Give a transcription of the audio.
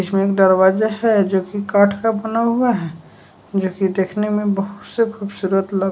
जिसमें एक दरवाजा है जोकी काठ का बना हुआ है जोकी देखने में बहुत से खूबसूरत लग--